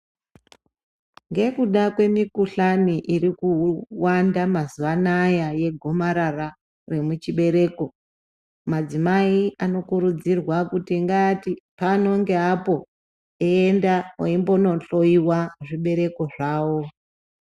Ngekuda kwemukhuhlani iri kuwanda mazuwa anaa yegomarara remuchibhereko madzimai anokurudzirwa kuti ngaati pano ngeapo eienda eimbondohloiwa zvibereko zvawo.